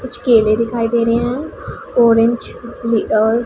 कुछ केले दिखाई दे रहे है ऑरेंज लि अह--